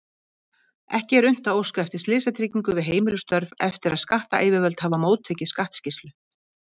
Ekki er unnt að óska eftir slysatryggingu við heimilisstörf eftir að skattayfirvöld hafa móttekið skattskýrslu.